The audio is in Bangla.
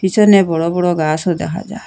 পিছনে বড় বড় গাসও দেখা যার।